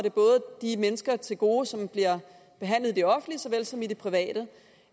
de mennesker til gode som bliver behandlet i det offentlige såvel som i det private